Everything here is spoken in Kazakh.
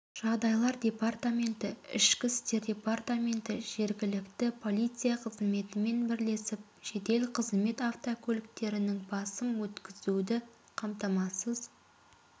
жағдайлар департаменті іішкі істер департаменті жерігілікті полиция қызметімен бірлесіп жедел қызмет автокөліктерінің басым өткізуді қамтамасыз